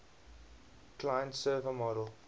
client server model